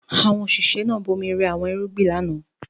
Àwọn òṣìṣẹ́ náà bomi rẹ àwọn irúgbìn lánàá.